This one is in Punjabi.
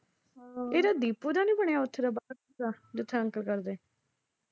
ਇਹਦਾ ਦੀਪੂ ਦਾ ਨਈਂ ਬਣਿਆ ਉੱਥੇ ਦਾ ਅਹ ਜਿੱਥੇ ਅੰਕਲ ਕਰਦੈ।